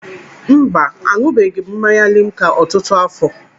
Mba, aṅụbeghị m mmanya limca ọtụtụ afọ.